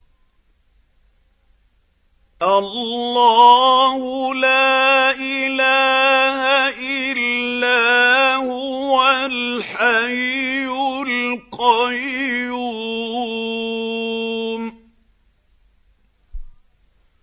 اللَّهُ لَا إِلَٰهَ إِلَّا هُوَ الْحَيُّ الْقَيُّومُ